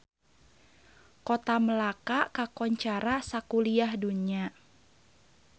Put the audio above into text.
Kota Melaka kakoncara sakuliah dunya